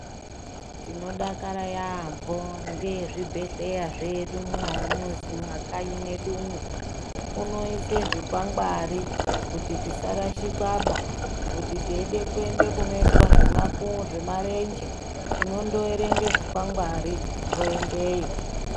Tinodakara yaampho ngezvibhedhleya zvedu mumakanyi mwedumwo, unoise zvikwangwari kuti tisarashikwaba, kuti teide kuenda kunoitwa zvemarenje, tinoerenge zvikwangwari toendeyo.